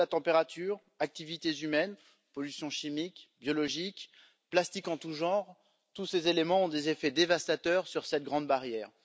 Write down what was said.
Hausse de la température, activités humaines, pollution chimique et biologique, plastique en tous genres, tous ces éléments ont des effets dévastateurs sur cette grande barrière.